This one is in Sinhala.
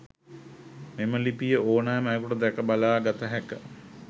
මෙම ලිපිය ඕනෑම අයෙකුට දැක බලා ගත හැක.